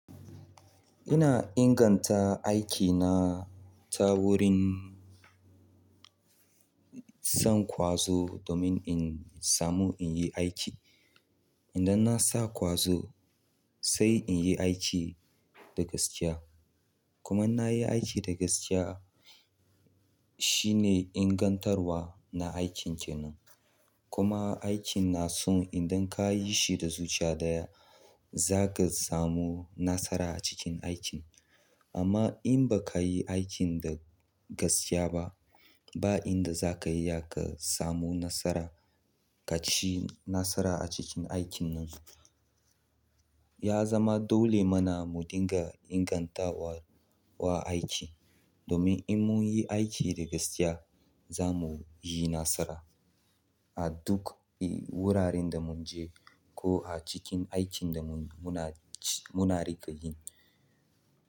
Ina inganta aikina ta wurin. Zan ƙwazo domin in samu in yi aiki. Idan na sa ƙwazo sai in yi aiki da gaskiya. Kuma in na yi aiki da gaskiya shine ingantarwa na aikin kenan. Kuma aikin na so idan ka yi shi da zuciya ɗaya, za ka samu nasara a cikin aikin. Amma in ba ka yi aikin da gaskiya ba, ba inda za ka iya ka samu nasara ka ci nasara a cikin aikin nan. Ya zama dole mana mu dinga ingantawa wa aiki domin in mun yi aiki da gaskiya za mu yi nasara a duk wuraren da mun je ko a cikin aikin da mun, muna ci, muna riƙa yi.